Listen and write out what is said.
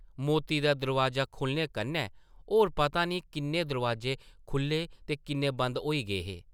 मौती दा दरोआजा खुʼल्लने कन्नै होर पता नेईं किन्ने दरोआजे खुʼल्ले ते किन्ने बंद होई गे हे ।